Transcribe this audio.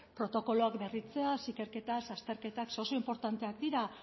protokoloak berritzeaz ikerketaz azterketak ze oso inportanteak dira